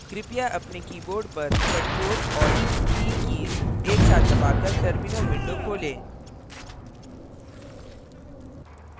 कृपया अपने keyboard पर ctrl + alt + t कीज़ एक साथ दबाकर terminal window खोलें